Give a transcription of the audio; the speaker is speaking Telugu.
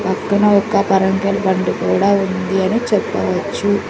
పక్కన ఒక బండి కూడా ఉంది అన్ని చెప్పవచ్చు.